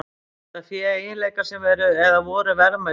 Hefur þetta fé eiginleika sem eru, eða voru, verðmætir?